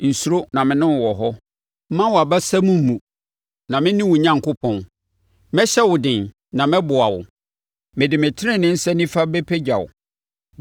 Nsuro, na me ne wo wɔ hɔ; mma wʼabasam mmu, na mene wo Onyankopɔn. Mɛhyɛ wo den, na mɛboa wo; mede me tenenee nsa nifa bɛpagya wo.